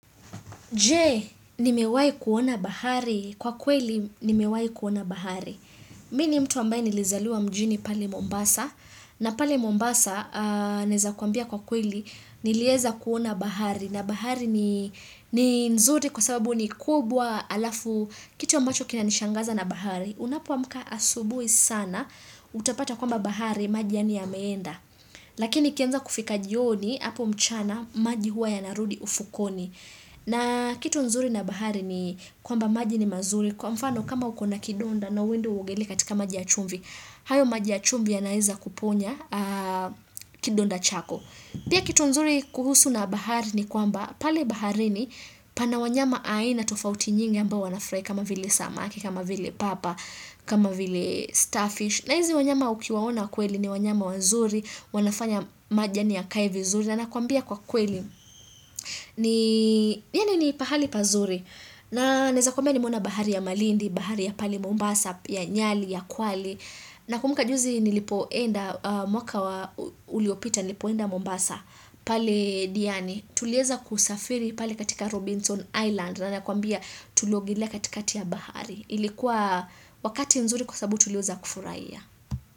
Je, nimewai kuona bahari. Kwa kweli, nimewai kuona bahari. Mi ni mtu ambaye nilizaliwa mjini pale Mombasa. Na pale Mombasa, naeza kuambia kwa kweli, nilieza kuona bahari. Na bahari ni nzuri kwa sababu ni kubwa alafu kitu ambacho kinanishangaza na bahari. Unapo amka asubuhi sana, utapata kwamba bahari, maji yaani yameenda. Lakini ikianza kufika jioni, hapo mchana, maji huwa yanarudi ufukoni. Na kitu nzuri na bahari ni kwamba maji ni mazuri. Kwa mfano kama ukona kidonda na uende uogele katika maji ya chumvi, hayo maji ya chumvi yanaaeza kuponya kidonda chako. Pia kitu nzuri kuhusu na bahari ni kwamba pale baharini pana wanyama aina tofauti nyingi ambao wanafurahi kama vile samaki, kama vile papa, kama vile starfish. Na hizi wanyama ukiwaona kweli ni wanyama wazuri, wanafanya maji yaani yakae vizuri. Na nakuambia kwa kweli, ni, yaani ni pahali pazuri. Na naeza kumbia nimeona bahari ya malindi, bahari ya pale Mombasa, ya nyali, ya kwale. Na kumbuka juzi nilipoenda, mwaka wa uliopita nilipoenda Mombasa, pale diani, tulieza kusafiri pale katika Robinson Island. Na nakuambia tuliogelea katika ya bahari. Ilikuwa wakati mzuri kwasababu tulieza kufurahia.